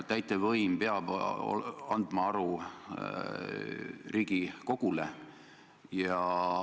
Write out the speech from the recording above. Täitevvõim peab andma aru Riigikogule.